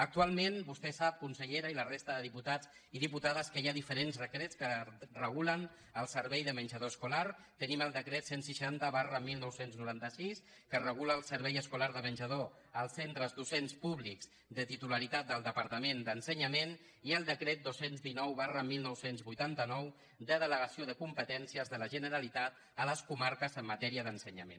actualment vostè sap consellera i la resta de diputats i diputades que hi ha diferents decrets que regulen el servei de menjador escolar tenim el decret cent i seixanta dinou noranta sis que regula el servei escolar de menjador als centres docents públics de titularitat del departament d’ensenyament i el decret dos cents i dinou dinou vuitanta nou de delegació de competències de la generalitat a les comarques en matèria d’ensenyament